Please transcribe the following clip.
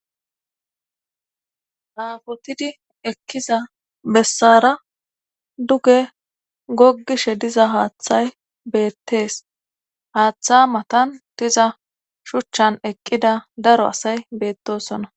aafotidi ekkiza bessara duge goggishe diza haaththay beettees haaththa matan diza shuchchan eqqida daro asay beettosona